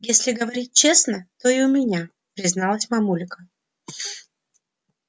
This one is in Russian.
если говорить честно то и у меня призналась мамулька